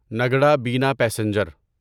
نگڑا بنا پیسنجر